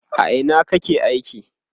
a Ina kake aiki?